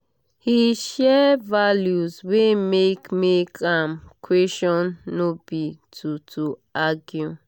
he share values wey make make am question no be to to argue